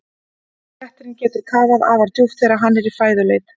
Léttirinn getur kafað afar djúpt þegar hann er í fæðuleit.